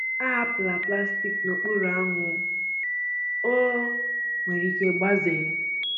Ahapụla plastik n’okpuru anwụ—ọ nwere ike gbazee.